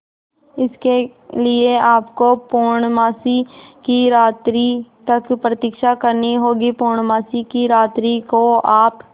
इसके लिए आपको पूर्णमासी की रात्रि तक प्रतीक्षा करनी होगी पूर्णमासी की रात्रि को आप